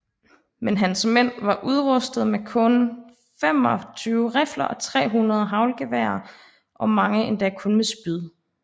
Men hans mænd var udrustet med kun 25 rifler og 300 haglgeværer og mange endda kun med spyd